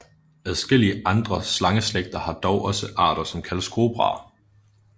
Adskillige andre slangeslægter har dog også arter som kaldes kobraer